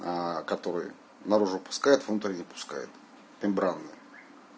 который наружу пускают внутрь не пускают мембрана